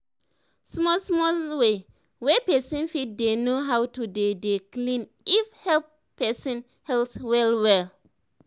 small small way wey pesin fit dey know how to dey dey clean if help pesin health well well